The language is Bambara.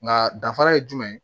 Nka danfara ye jumɛn ye